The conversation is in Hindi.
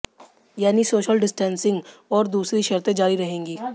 यानी सोशल डिस्टेंसिंग और दूसरी शर्तें जारी रहेंगी